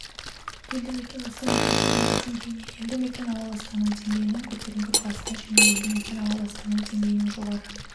елді-мекен ластанудың төменгі деңгейіне елді-мекен ауа ластануы деңгейінің көтеріңкі класына және елді-мекен ауа ластануы деңгейінің жоғары